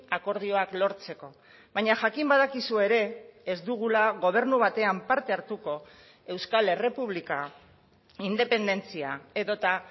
akordioak lortzeko baina jakin badakizu ere ez dugula gobernu batean parte hartuko euskal errepublika independentzia edota